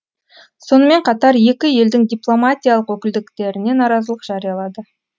сонымен қатар екі елдің дипломатиялық өкілдіктеріне наразылық жариялады